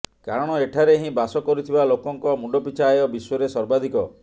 କାରଣ ଏଠାରେ ହିଁ ବାସ କରୁଥିବା ଲୋକଙ୍କ ମୁଣ୍ଡପିଛା ଆୟ ବିଶ୍ୱରେ ସର୍ବାଧିକ